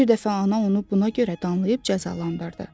Bir dəfə ana onu buna görə danlayıb cəzalandırdı.